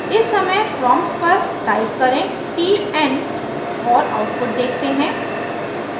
इस समय प्रॉम्प्ट पर टाइप करें tn और आउटपुट देखते हैं